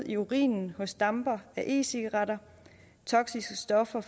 i urinen hos dampere af e cigaretter toksiske stoffer